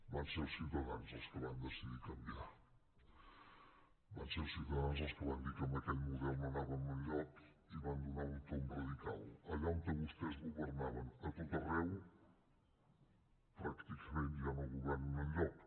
van ser els ciutadans els que van decidir canviar van ser els ciutadans els que van dir que en aquell model no anàvem enlloc i van donar un tomb radical allà on vostès governaven a tot arreu pràcticament ja no governen enlloc